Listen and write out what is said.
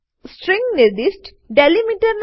string નિર્દિષ્ટ delimiter